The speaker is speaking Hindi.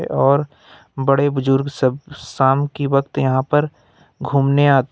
और बड़े बुजुर्ग सब शाम की वक्त यहां पर घूमने आते--